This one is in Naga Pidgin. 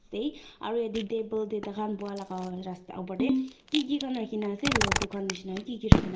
aru yate table te taikhan buhaa laga rasta opor te Kiki khan rakhina ase lordu khan nishe na Kiki khan.